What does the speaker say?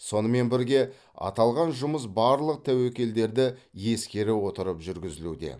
сонымен бірге аталған жұмыс барлық тәуекелдерді ескере отырып жүргізілуде